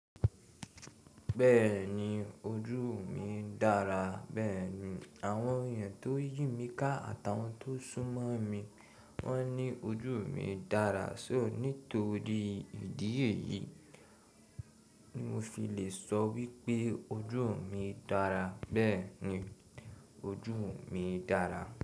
Bẹ́ẹ̀ni ojú mi dára. Bẹ́ẹ̀ni àwọn èèyàn tó yìn mí ká àtàwọn tó sún mọ́ mi wọ́n ní ojú mi dára. Ṣóò nítorí ìdí èyí mo fi lè sọ wípé ojú mi dára. Bẹ́ẹ̀ni ojú mi dára.